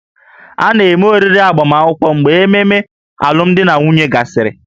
A na-eme oriri agbamakwụkwọ mgbe ememe alụmdi na nwunye gasịrị